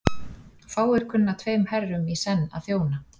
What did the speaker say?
Fáir kunna tveim herrum í senn að þjóna.